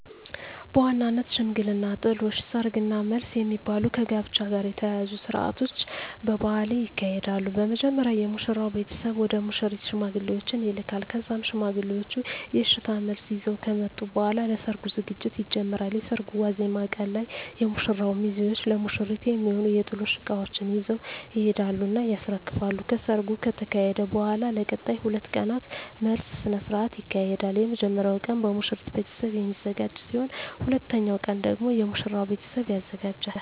በዋነኝነት ሽምግልና፣ ጥሎሽ፣ ሰርግ እና መልስ የሚባሉ ከጋብቻ ጋር የተያያዙ ስርአቶች በባህሌ ይካሄዳሉ። በመጀመሪያ የሙሽራው ቤተሰብ ወደ ሙሽሪት ሽማግሌዎችን ይልካል ከዛም ሽማግሌዎቹ የእሽታ መልስ ይዘው ከመጡ በኃላ ለሰርጉ ዝግጅት ይጀመራል። የሰርጉ ዋዜማ ቀን ላይ የሙሽራው ሚዜዎች ለሙሽሪት የሚሆኑ የጥሎሽ እቃዎችን ይዘው ይሄዱና ያስረክባሉ። ከሰርጉ ከተካሄደ በኃላም ለቀጣይ 2 ቀናት መልስ ስነ ስርዓት ይካሄዳል። የመጀመሪያው ቀን በሙሽሪት ቤተሰብ የሚዘጋጅ ሲሆን ሁለተኛው ቀን ደግሞ የሙሽራው ቤተሰብ ያዘጋጃል።